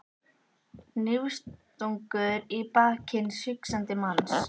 Hnífstungur í bak hins hugsandi manns.